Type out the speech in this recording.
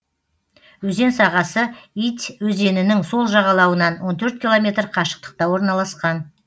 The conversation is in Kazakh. өзен сағасы ить өзенінің сол жағалауынан он төрт километр қашықтықта орналасқан